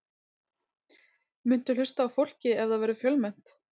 Muntu hlusta á fólkið ef það verður fjölmennt?